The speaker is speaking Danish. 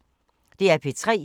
DR P3